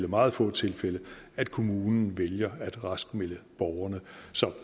meget få tilfælde at kommunen vælger at raskmelde borgerne så